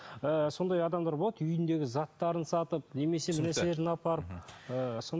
ы сондай адамдар болады үйіндегі заттарын сатып немесе бір нәрселерін апарып ыыы